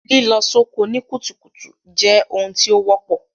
Lílọ soko ni kùtùkùtù je oun tí o wọ́pọ̀